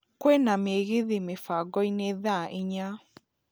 kwĩna mĩgithi mĩbangoinĩ thaa inya